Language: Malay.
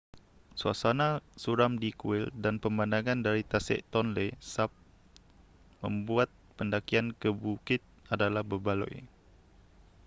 suasana suram di kuil dan pemandangan dari tasik tonle sap membuat pendakian ke bukit adalah berbaloi